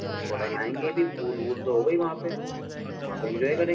और थोड़ा नहायेंगे भी पूल वूल तो होगा ही वहाँ पे । वहाँ पे इन्जॉय करें --